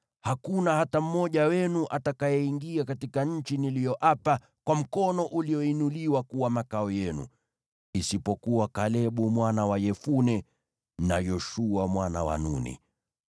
Hakuna hata mmoja wenu atakayeingia katika nchi niliyoapa kwa mkono ulioinuliwa kuwa makao yenu, isipokuwa Kalebu mwana wa Yefune, na Yoshua mwana wa Nuni.